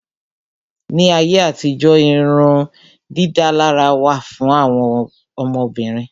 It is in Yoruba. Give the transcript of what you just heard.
Ní ayé àtijó irun dídálárà wà fún àwọn Obìnrin.